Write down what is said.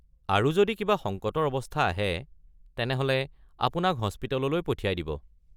আৰু যদি কিবা সংকটৰ অৱস্থা আহে তেনেহ’লে আপোনাক হস্পিটেললৈ পঠিয়াই দিব।